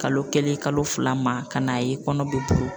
Kalo kelen kalo fila ma ka n'a ye kɔnɔ bɛ bɔ.